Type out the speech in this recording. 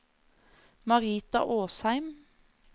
Marita Åsheim